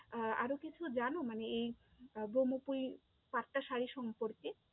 আহ আরও কিছু জানো? মানে এই আহ ব্রহ্মপুরী পাট্টা শাড়ি সম্পর্কে,